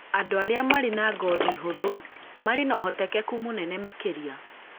andũ arĩa marĩ na ngothi hũthũ marĩ na ũhotekeku mũnene makĩria